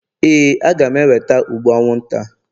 Éè, a ga m eweta ụgbụ anwụnta.